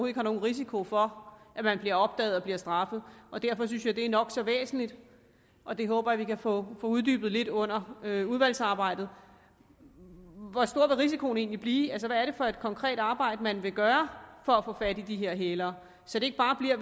ikke har nogen risiko for at man bliver opdaget og bliver straffet derfor synes jeg at det er nok så væsentligt og det håber jeg at vi kan få uddybet lidt under udvalgsarbejdet hvor stor vil risikoen egentlig blive altså hvad er det for et konkret arbejde man vil gøre for at få fat i de her hælere så det ikke bare bliver